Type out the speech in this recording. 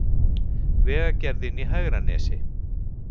Vegagerðin í Hegranesi